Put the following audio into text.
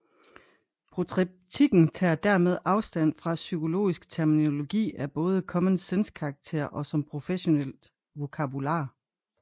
Protreptikken tager dermed afstand fra psykologisk terminologi af både common sense karakter og som professionelt vokabular